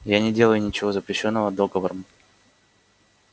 я не делаю ничего запрещённого договором